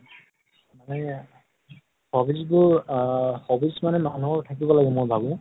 সেইয়া, hobbies বোৰ আহ hobbies মানে মানুহৰ থাকিব লাগে মই ভাবো